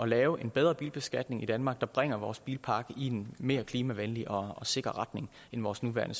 lave en bedre bilbeskatning i danmark der bringer vores bilpark i en mere klimavenlig og sikker retning end vores nuværende